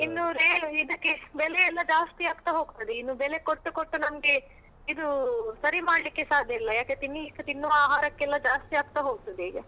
ಇನ್ನು ಏನು ಇದಕ್ಕೆ ಬೆಲೆ ಎಲ್ಲ ಜಾಸ್ತಿ ಆಗ್ತ ಹೋಗ್ತದೆ ಇನ್ನು ಬೆಲೆ ಕೊಟ್ಟು ಕೊಟ್ಟು ನಮ್ಗೆ ಇದು ಸರಿ ಮಾಡ್ಲಿಕ್ಕೆ ಸಾಧ್ಯ ಇಲ್ಲ ಯಾಕೆ ತಿನ್ಲಿಕ್ಕೆ ತಿನ್ನುವ ಆಹಾರಕ್ಕೆಲ್ಲ ಜಾಸ್ತಿ ಆಗ್ತ ಹೋಗ್ತದೆ ಈಗ.